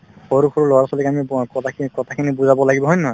সৰু সৰু লৰা-ছোৱালিক আমি ব কথাখিনিত কথাখিনি বুজাব লাগিব হয় নে নহয়